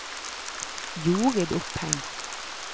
Jorid Opheim